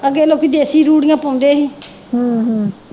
ਅੱਗੇ ਲੋਕੀ ਦੇਸੀ ਰੂੜੀਆਂ ਪਾਉਂਦੇ ਹੀ